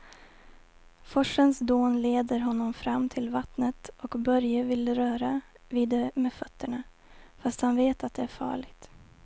Forsens dån leder honom fram till vattnet och Börje vill röra vid det med fötterna, fast han vet att det är farligt.